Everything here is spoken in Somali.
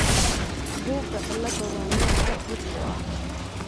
buga cilada waa nooc aad dhif u ah dysplasika ectodermalka.